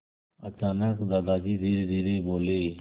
अचानक दादाजी धीरेधीरे बोले